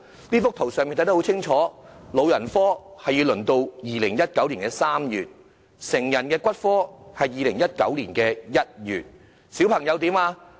這幅圖表清楚列明：老人科的門診新症要輪候至2019年3月；成人骨科的是2019年1月；小朋友怎樣呢？